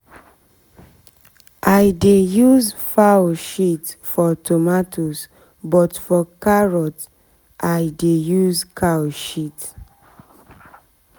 since we begin use animal shit we no shit we no dey buy fertilizer again.